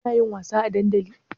Kunayin wasa a dandali?